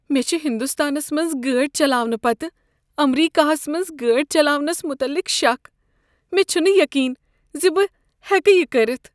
مےٚ چھ ہندوستانس منٛز گٲڑۍ چلاونہٕ پتہٕ امریکہس منٛز گٲڑۍ چلاونس متعلق شک۔ مےٚ چھنہٕ یقین زِ بہٕ ہیکہٕ یِہ کٔرتھ۔